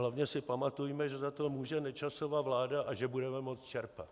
Hlavně si pamatujme, že za to může Nečasova vláda a že budeme moct čerpat.